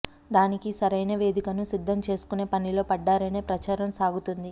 దానికి సరైన వేదికను సిద్ధం చేసుకునే పనిలో పడ్డారనే ప్రచారం సాగుతోంది